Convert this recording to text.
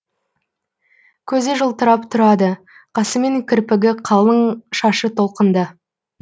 көзі жылтырап тұрады қасы мен кірпігі қалың шашы толқынды